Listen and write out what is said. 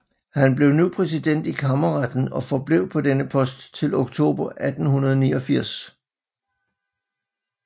Han blev nu præsident i Kammerretten og forblev på denne post til oktober 1889